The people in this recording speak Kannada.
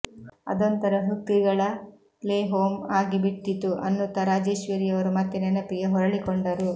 ಅದೊಂಥರ ಹ್ಕಕಿಗಳ ಪ್ಲೇಹೋಮ್ ಆಗಿಬಿಟ್ಟಿತ್ತು ಅನ್ನುತ್ತಾ ರಾಜೇಶ್ವರಿಯವರು ಮತ್ತೆ ನೆನಪಿಗೆ ಹೊರಳಿಕೊಂಡರು